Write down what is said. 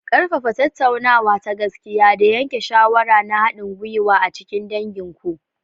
Ƙarfafa tattaunawa ta gaskiya da yanke shawara na haɗin gwiwa a cikin dangin ku.